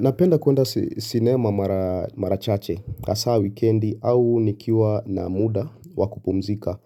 Napenda kuenda sinema marachache hasa wikendi au nikiwa na muda wakupumzika.